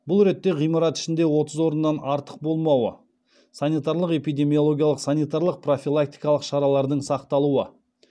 бұл ретте ғимарат ішінде отыз орыннан артық болмауы санитарлық эпидемиологиялық санитарлық профилактикалық шаралардың сақталуы